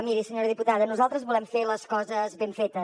miri senyora diputada nosaltres volem fer les coses ben fetes